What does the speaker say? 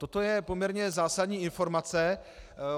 Toto je poměrně zásadní informace.